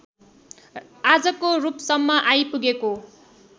आजको रूपसम्म आइपुगेको